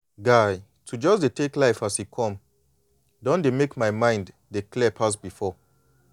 guy to just dey tek life as e come don dey mek my mind dey calm pass before.